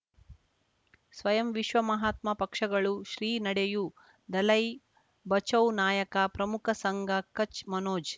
ಸ್ವಯಂ ವಿಶ್ವ ಮಹಾತ್ಮ ಪಕ್ಷಗಳು ಶ್ರೀ ನಡೆಯೂ ದಲೈ ಬಚೌ ನಾಯಕ ಪ್ರಮುಖ ಸಂಘ ಕಚ್ ಮನೋಜ್